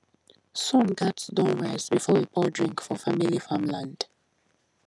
sun gats don rise before we pour drink for family farmland